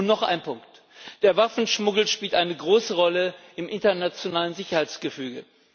Noch ein Punkt Der Waffenschmuggel spielt eine große Rolle im internationalen Sicherheitsgefüge.